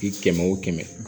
Di kɛmɛ o kɛmɛ